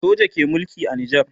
soja ke Mulki a nijar